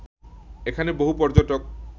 এখানে বহু পর্যটক